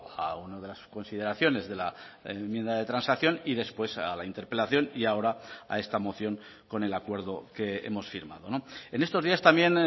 a una de las consideraciones de la enmienda de transacción y después a la interpelación y ahora a esta moción con el acuerdo que hemos firmado en estos días también